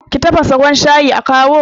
ki tafasa ruwan shayi a kawo?